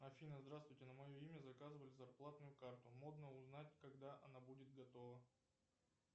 афина здравствуйте на мое имя заказывали зарплатную карту можно узнать когда она будет готова